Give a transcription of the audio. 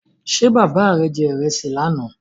Ṣé bàbá rè je ìrẹsì lánà?